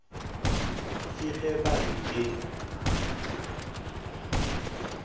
ke ge ba re ke